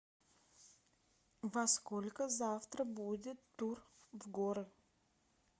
во сколько завтра будет тур в горы